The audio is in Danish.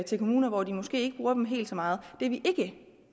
til kommuner hvor de måske ikke bruger dem helt så meget det vi ikke